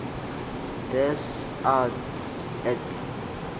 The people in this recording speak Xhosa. des arts et